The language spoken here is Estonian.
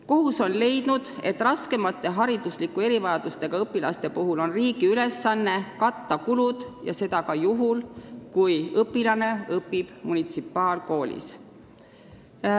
Kohus on leidnud, et raskemate hariduslike erivajadustega õpilaste puhul on riigi ülesanne katta kulud ja seda ka juhul, kui õpilane õpib munitsipaalkoolis.